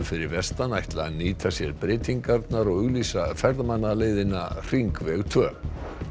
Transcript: fyrir vestan ætla að nýta sér breytingarnar og auglýsa hringveg tvö